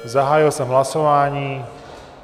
Zahájil jsem hlasování.